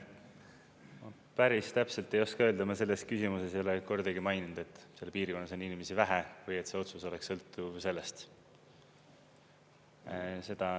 Ma päris täpselt ei oska öelda, me selles küsimuses ei ole kordagi maininud, et seal piirkonnas on inimesi vähe või et see otsus oleks sõltuv sellest.